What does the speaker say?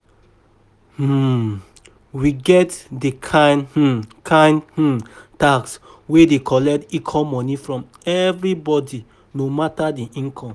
um We get di kind um kind um tax wey dey collect equal money from every body no matter di income